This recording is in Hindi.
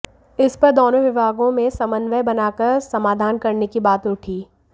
इस पर दोनों विभागों में समन्वय बनाकर समाधान करने की बात उठी